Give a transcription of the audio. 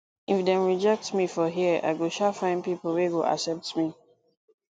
if dem rejectme for here i go um find pipo wey go accept me